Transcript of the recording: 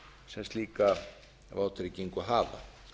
sem slíka vátryggingu hafa